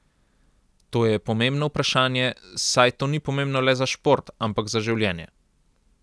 To je pomembno vprašanje, saj to ni pomembno le za šport, ampak za življenje.